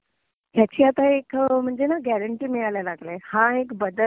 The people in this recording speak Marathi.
ह्याची आता एक म्हणजे ना गॅरंटी मिळायला लागलिय. हा एक बदल